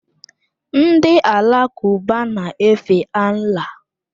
Ndị Alakụba na-efe Allah.